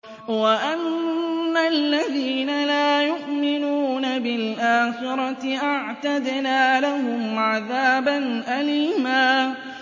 وَأَنَّ الَّذِينَ لَا يُؤْمِنُونَ بِالْآخِرَةِ أَعْتَدْنَا لَهُمْ عَذَابًا أَلِيمًا